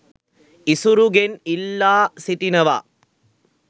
ඉසුරුගෙන් ඉල්ලා සිටිනවා